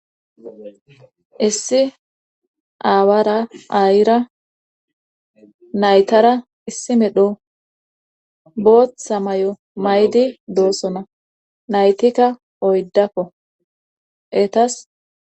Issi aawara ayira naytara issi medho booththa may'o maydi doossona naytikka oydakko etas.